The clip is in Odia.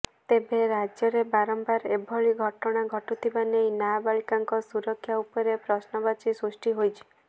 ତେବେ ରାଜ୍ୟରେ ବାରମ୍ବାର ଏଭଳି ଘଟଣା ଘଟୁଥିବା ନେଇ ନାବାଳିକାଙ୍କ ସୁରକ୍ଷା ଉପରେ ପ୍ରଶ୍ନବାଚୀ ସୃଷ୍ଟି ହୋଇଛି